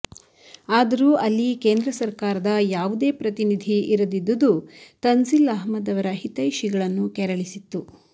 ಆದರೂ ಅಲ್ಲಿ ಕೇಂದ್ರ ಸರಕಾರದ ಯಾವುದೇ ಪ್ರತಿನಿಧಿ ಇರದಿದ್ದುದು ತಂಝಿಲ್ ಅಹಮದ್ ಅವರ ಹಿತೈಷಿಗಳನ್ನು ಕೆರಳಿಸಿತ್ತು